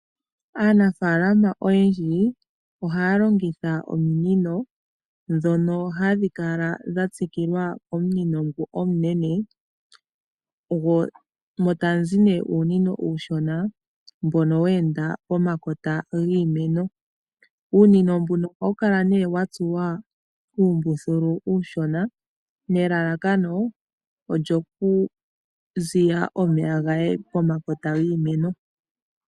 Aanafaalama oyendji ohaya longitha ominino ndhono hadhi kala dha tsikilwa komunino ngu omunene mo ta mu zi nee uunino uushona mbono wa enda pomakota giimeno. Uunino mbuno ohawu kala nee wa tsuwa uumbuthulu uushona nelalakano lyoku ziya omeya ga ye pomakota giimeno.